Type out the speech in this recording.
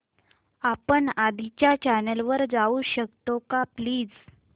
आपण आधीच्या चॅनल वर जाऊ शकतो का प्लीज